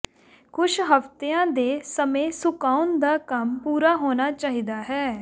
ਕੁਝ ਹਫ਼ਤਿਆਂ ਦੇ ਸਮੇਂ ਸੁਕਾਉਣ ਦਾ ਕੰਮ ਪੂਰਾ ਹੋਣਾ ਚਾਹੀਦਾ ਹੈ